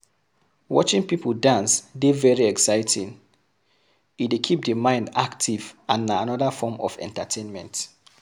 Watching people dance dey very exciting, e dey keep di mind active and na anoda form of entertainment